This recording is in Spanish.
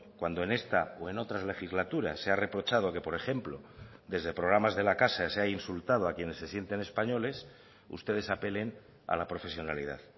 cuando en esta o en otras legislaturas se ha reprochado que por ejemplo desde programas de la casa se ha insultado a quienes se sienten españoles ustedes apelen a la profesionalidad